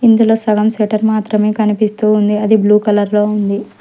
ఇందులో సగం సెట్టర్ మాత్రమే కనిపిస్తూ ఉంది అది బ్లూ కలర్ లో ఉంది.